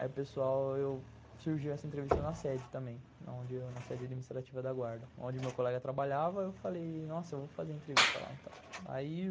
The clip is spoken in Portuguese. Aí o pessoal, eu, surgiu essa entrevista na sede também, na sede administrativa da guarda, onde o meu colega trabalhava, eu falei, nossa, eu vou fazer entrevista lá então.